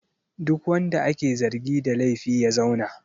Duk wanda ake zargi da laifi ya zauna!